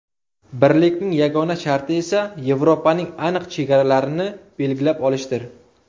Birlikning yagona sharti esa Yevropaning aniq chegaralarini belgilab olishdir.